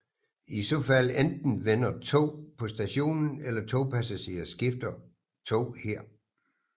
I så fald enten vender tog på stationen eller togpassagerer skifter tog her